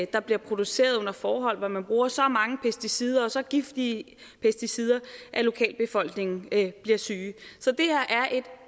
der bliver produceret under forhold hvor man bruger så mange pesticider og så giftige pesticider at lokalbefolkningen bliver syge